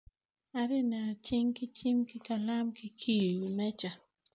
Atye neno cing ki cing ki kalam kicibo i wi meca.